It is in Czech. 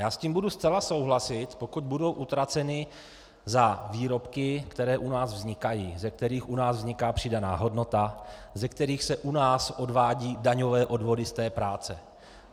Já s tím budu zcela souhlasit, pokud budou utraceny za výrobky, které u nás vznikají, ze kterých u nás vzniká přidaná hodnota, ze kterých se u nás odvádějí daňové odvody z té práce.